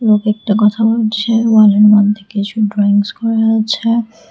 লোক একটা কথা বলছে মধ্যে কিছু ড্রয়িংস করা আছে।